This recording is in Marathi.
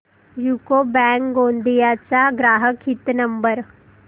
यूको बँक गोंदिया चा ग्राहक हित नंबर